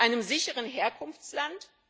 einem sicheren Herkunftsland?